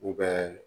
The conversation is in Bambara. U bɛ